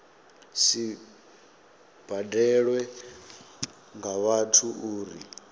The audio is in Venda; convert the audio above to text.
si badelwe nga vhathu uri